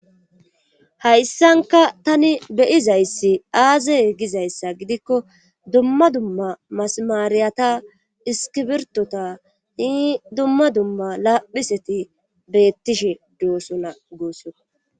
hayssanka tani beyizayssi aaze gizayssa gidikko dumma dumma masamaariyata iskibirtota hi dumma dumma laaphiseti beettishe doosona goosso